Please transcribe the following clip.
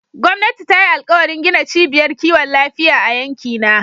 Gwamnati ta yi alkawarin gina ciɓiyar ƙiwon lafiya a yankina.